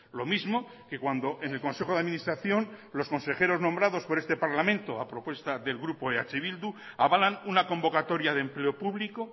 lo mismo que cuando en el consejo de administración los consejeros nombrados por este parlamento a propuesta del grupo eh bildu avalan una convocatoria de empleo público